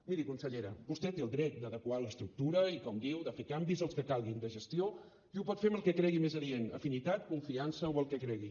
miri consellera vostè té el dret d’adequar l’estructura i com diu de fer canvis els que calguin de gestió i ho pot fer amb el que cregui més adient afinitat confiança o el que cregui